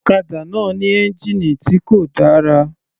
Ọ̀kadà náà ní ẹ́ngìnì tí kò dára.